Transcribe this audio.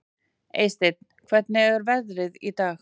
Eysteinn, hvernig er veðrið í dag?